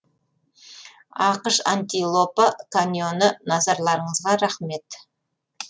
ақш антилопа каньоны назарларыңызға рақмет